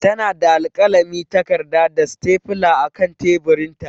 Tana da alkalami, takarda, da stapler a kan teburinta.